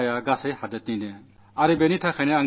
ഈ നഷ്ടം രാജ്യത്തിന്റേതുമുഴുവനുമാണ്